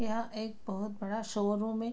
यहाँ एक बहुत बड़ा शोरूम है।